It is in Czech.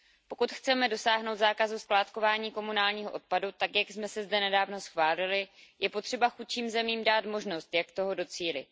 Pokud chceme dosáhnout zákazu skládkování komunálního odpadu tak, jak jsme si zde nedávno schválili, je potřeba chudším zemím dát možnost, jak toho docílit.